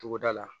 Togoda la